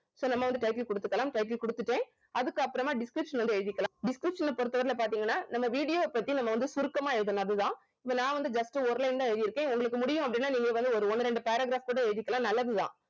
so நம்ம வந்து title குடுத்துக்கலாம் title குடுத்துட்டேன் அதுக்கப்புறமா description வந்து எழுதிக்கலாம் description பொறுத்தவரையில பார்த்தீங்கன்னா நம்ம video அ பத்தி நம்ம வந்து சுருக்கமா எழுதனும் அது தான் இப்ப நான் வந்து just ஒரு line தான் எழுதி இருக்கேன் உங்களுக்கு முடியும் அப்படின்னா நீங்க வந்து ஒரு ஒண்ணு ரெண்டு paragraph கூட எழுதிக்கலாம் நல்லது தான்